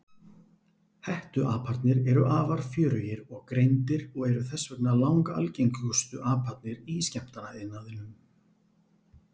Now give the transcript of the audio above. Hettuaparnir eru afar fjörugir og greindir og eru þess vegna langalgengustu aparnir í skemmtanaiðnaðinum.